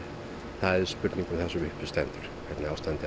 það er spurning um það sem uppi stendur hvernig ástandið